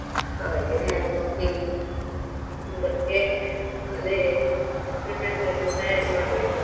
ಹಾಗೆ ಮತ್ತೆ ಅದೇ preparation ಎಲ್ಲಾ ತಯಾರಿ ಮಾಡ್ಬೇಕು.